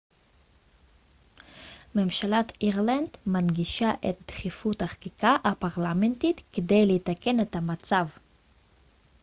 ממשלת אירלנד מדגישה את דחיפות החקיקה הפרלמנטרית כדי לתקן את המצב